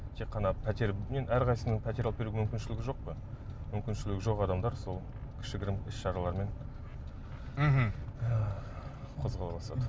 тек қана пәтер енді әрқайсысының пәтер алып беруге мүмкіншілігі жоқ қой мүмкіншілігі жоқ адамдар сол кішігірім іс шаралармен мхм қозғала бастады